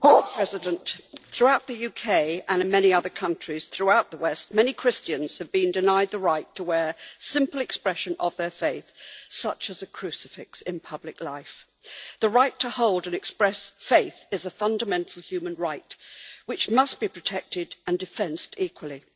Mr President, throughout the UK and in many other countries throughout the West, many Christians have been denied the right to wear a simple expression of their faith, such as a crucifix, in public life. The right to hold and express faith is a fundamental human right which must be protected and defended equally.